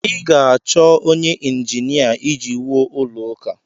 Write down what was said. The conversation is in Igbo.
ị ga-achọ onye ịnjinia iji wuo ụlọ ụka